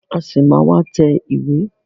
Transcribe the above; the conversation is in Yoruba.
A ṣì máa má tẹ ìwé.